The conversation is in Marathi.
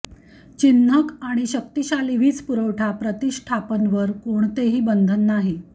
चिन्हक आणि शक्तिशाली वीज पुरवठा प्रतिष्ठापन वर कोणतेही बंधन नाही